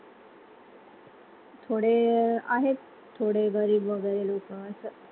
थोडे आहेत थोडे गरीब वगैरे लोकं, असं